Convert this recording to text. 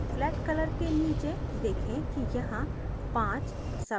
flat color के नीचे देखें कि यहाँ 5 subtabs हैं